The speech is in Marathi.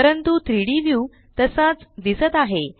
परंतु 3डी व्यू तसाच दिसत आहे